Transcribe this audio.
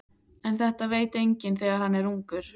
En þetta veit enginn þegar hann er ungur.